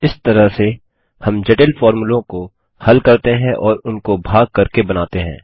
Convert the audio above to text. इस तरह से हम जटिल फोर्मुलों को हल करते हैं और उनको भाग करके बनाते हैं